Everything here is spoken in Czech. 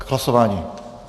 K hlasování?